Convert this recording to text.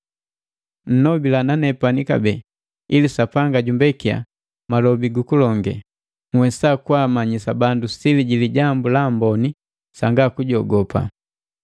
Nnobila nanepani kabee ili Sapanga jumbekiya malobi gukulonge, nhwesa kwaamanyisa bandu sili ji Lijambu la Amboni sanga kujogopa.